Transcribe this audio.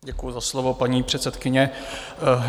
Děkuji za slovo, paní předsedkyně.